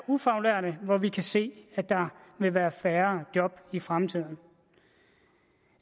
ufaglærte for hvem vi kan se at der vil være færre job i fremtiden